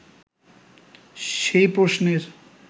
সেই প্রশ্নের